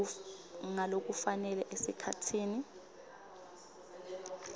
ngalokufanele esikhatsini